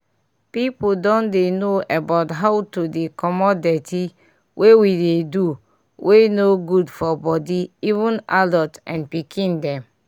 people don dey know about how to dey comot dirty wey we dey do wey no good for body even adult and pikin dem